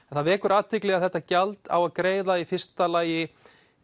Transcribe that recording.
það vekur athygli að þetta gjald á að greiða í fyrsta lagi